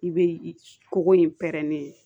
I bɛ koko in pɛrɛnnen ye